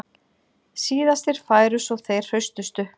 Síðastir færu svo þeir hraustustu